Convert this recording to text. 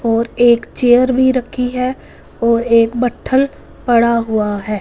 और एक चेयर भी रखी है और एक बट्ठल पड़ा हुआ है।